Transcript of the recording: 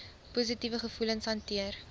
positiewe gevoelens hanteer